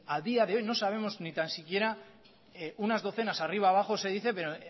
a día de hoy no sabemos ni tan siquiera unas docenas arriba abajo se dice pero